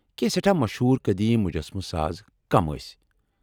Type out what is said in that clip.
کینٛہہ سیٹھاہ مشہوٗر قدیم مجسمہٕ ساز کم ٲسۍ ؟